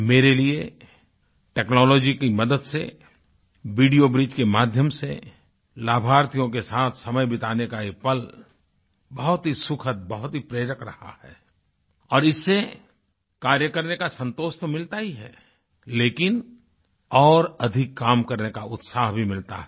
मेरे लिए टेक्नोलॉजी की मदद से वीडियो ब्रिज के माध्यम से लाभार्थियों के साथ समय बिताने का एक पल बहुत ही सुखद बहुत ही प्रेरक रहा है और इससे कार्य करने का संतोष तो मिलता ही है लेकिन और अधिक कार्य करने का उत्साह भी मिलता है